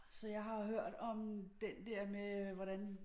Så jeg har hørt om den der med hvordan